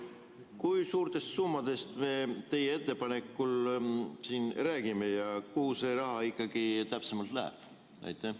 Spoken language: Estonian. Kui suurtest summadest me teie ettepaneku puhul siin räägime ja kuhu see raha ikkagi täpsemalt läheb?